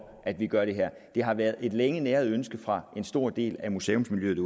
at vi gør det her det har været et længe næret ønske fra en stor del af museumsmiljøet